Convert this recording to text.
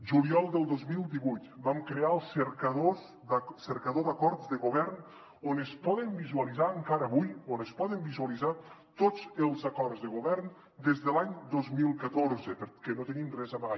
juliol del dos mil divuit vam crear el cercador d’acords de govern on es poden visualitzar encara avui on es poden visualitzar tots els acords de govern des de l’any dos mil catorze perquè no tenim res a amagar